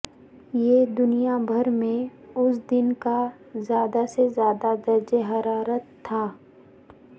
یہ دنیا بھر میں اس دن کا زیادہ سے زیادہ درجہ حرارت تھا